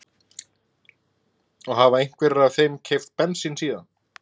Og hafa einhverjir af þeim keypt bensín síðan